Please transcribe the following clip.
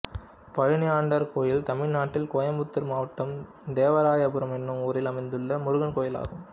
பழனியாண்டவர் கோயில் தமிழ்நாட்டில் கோயம்புத்தூர் மாவட்டம் தேவராயபுரம் என்னும் ஊரில் அமைந்துள்ள முருகன் கோயிலாகும்